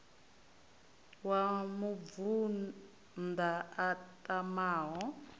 wa mubvann ḓa a tamaho